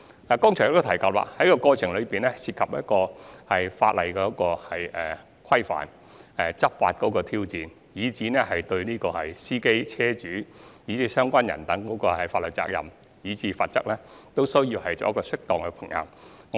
我剛才亦已指出，在籌劃的過程中，會涉及法例的規範及執法時或須面對的挑戰，而我們有需要就司機、車主、相關各方的法律責任和罰則作出適當的平衡。